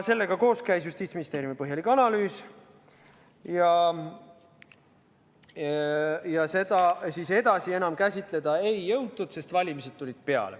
Sellega koos käis Justiitsministeeriumi põhjalik analüüs, aga seda edasi enam käsitleda ei jõutud, sest valimised tulid peale.